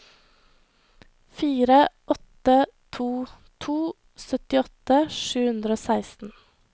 fire åtte to to syttiåtte sju hundre og seksten